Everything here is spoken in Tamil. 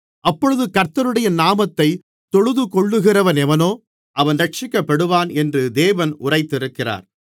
அப்பொழுது கர்த்தருடைய நாமத்தைத் தொழுதுகொள்ளுகிறவனெவனோ அவன் இரட்சிக்கப்படுவான் என்று தேவன் உரைத்திருக்கிறார்